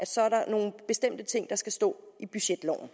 så er nogle bestemte ting der skal stå i budgetloven